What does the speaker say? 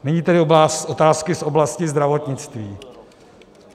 Nyní tedy otázky z oblasti zdravotnictví.